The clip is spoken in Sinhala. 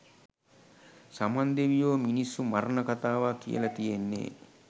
සමන් දෙවියෝ මිනිස්සු මරණ කතාවක් කියල තියෙන්නේ?